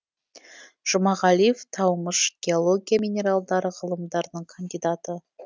жұмағалиев таумыш геология минералдар ғылымдарының кандидаты